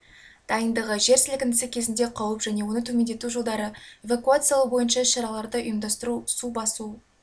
дайындығы жер сілкінісі кезінде қауіп және оны төмендету жолдары эвакуациялау бойынша іс-шараларды ұйымдастыру су басу